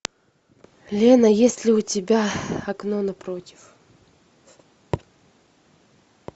лена есть ли у тебя окно напротив